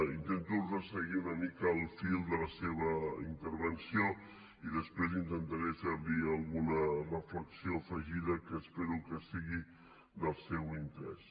intento resseguir una mica el fil de la seva intervenció i després intentaré fer li alguna reflexió afegida que espero que sigui del seu interès